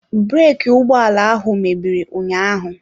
Breki ụgbọ ala ahụ mebiri ụnyaahụ.